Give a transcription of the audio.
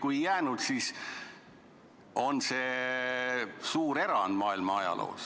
Kui ei jäänud, siis on see suur erand maailma ajaloos.